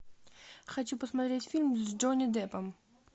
хочу посмотреть фильм с джонни деппом